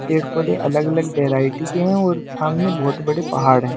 पेड़-पौधे अलग-अलग वैरायटी के हैं और सामने बहुत बड़े पहाड़ हैं।